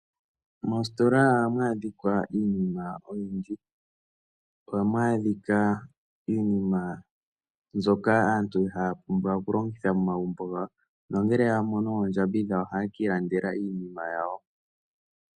Mositola ohamu adhika iinima oyindji. Ohamu adhika iinima mbyoka aantu haya pumbwa okulongitha momagumbo gawo nongele ya mono oondjambi dhawo ohaye ki ilandela iinima yawo.